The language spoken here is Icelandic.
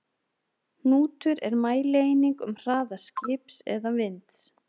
Hnútur er mælieining um hraða skips eða vinds.